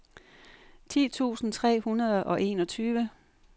ti tusind tre hundrede og enogtyve